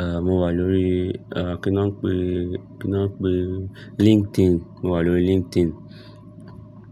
eẹ, mo wà lórí, eẹ, kí ni wọ́n ń pè e, kí ni wọ́n ń pè e? LinkedIn, mo wà lórí LinkedIn.